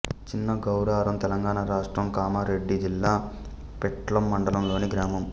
చిన్న గౌరారం తెలంగాణ రాష్ట్రం కామారెడ్డి జిల్లా పిట్లం మండలంలోని గ్రామం